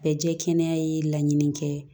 Bɛɛ jɛ kɛnɛ ye laɲini kɛ